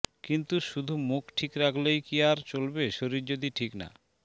কিন্তু শুধু মুখ ঠিক রাখলেই কি আর চলবে শরীর যদি ঠিক না